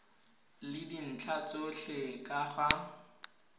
le dintlha tsotlhe ka ga